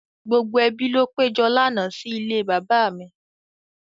Gbogbo ẹbi ló péjọ lánàá sí ilé bàbá mi.